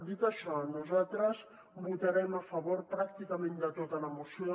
dit això nosaltres votarem a favor pràcticament de tota la moció